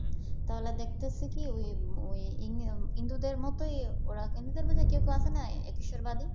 তাহলে দেখতেছি কি ঐ ঐ হিন্দুদের মতই ওরা হিন্দু ধর্মে কেউ কেউ আছে না এক ঈশ্বরবাদী।